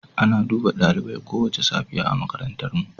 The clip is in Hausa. Ana duba dalibai kowace safiya a makarantarmu.